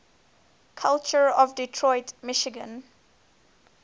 culture of detroit michigan